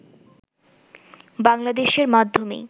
বাংলাদেশের মাধ্যমেই